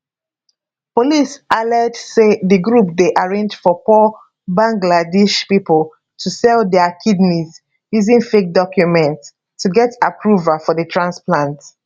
police allege say di group dey arrange for poor bangladesh pipo to sell dia kidneys using fake documents to get approval for di transplants